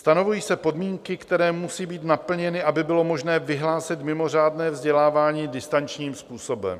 Stanovují se podmínky, které musí být naplněny, aby bylo možné vyhlásit mimořádné vzdělávání distančním způsobem.